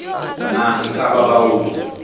na e ka ba baoki